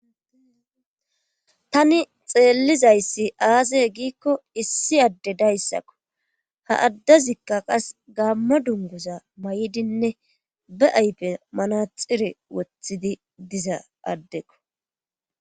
tani xeellizayssi aaze giikko issi adde dayssakko ha addazikka qas gaamma dunguza may7idinne be aype manaxire wothidi diza addeko